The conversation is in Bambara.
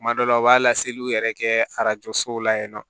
Kuma dɔw la u b'a laseliw yɛrɛ kɛ arajo sow la yen nɔ